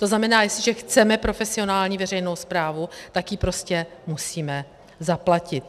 To znamená, jestliže chceme profesionální veřejnou správu, tak ji prostě musíme zaplatit.